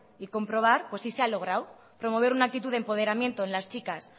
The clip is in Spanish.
y comprobar si se ha logrado promover una actitud de empoderamiento en las chicas